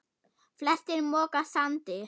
Flestir moka sandi.